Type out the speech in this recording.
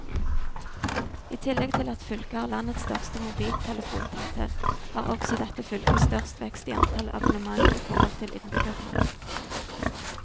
I tillegg til at fylket har landets største mobiltelefontetthet, har også dette fylket størst vekst i antall abonnement i forhold til innbyggertallet.